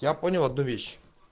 я понял одну вещь